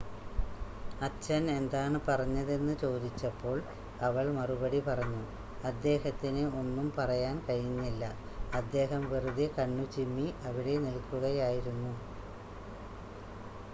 "അച്ഛൻ എന്താണ് പറഞ്ഞതെന്ന് ചോദിച്ചപ്പോൾ അവൾ മറുപടി പറഞ്ഞു "അദ്ദേഹത്തിന് ഒന്നും പറയാൻ കഴിഞ്ഞില്ല - അദ്ദേഹം വെറുതെ കണ്ണുചിമ്മി അവിടെ നിൽക്കുകയായിരുന്നു.""